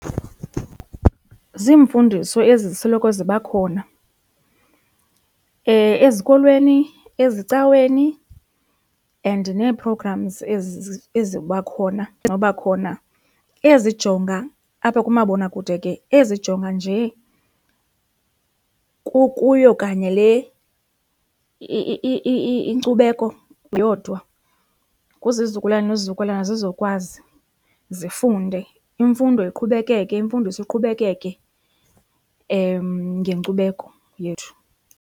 Zimfundiso ezi zisoloko ziba khona ezikolweni, ezicaweni and nee-programs ezi eziba khona noba khona ezijonga apha kumabonakude ke, ezijonga nje kukuyo kanye le inkcubeko yodwa. kwizizukulwana nezizukulwana zizokwazi zifunde imfundo iqhubekeke, imfundiso iqhubekeke ngenkcubeko yethu.